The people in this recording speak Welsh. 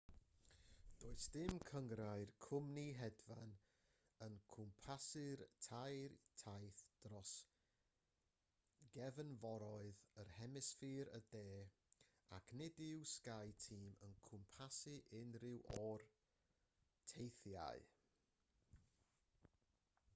does dim cynghrair cwmni hedfan yn cwmpasu'r tair taith dros gefnforoedd yn hemisffer y de ac nid yw skyteam yn cwmpasu unrhyw un o'r teithiau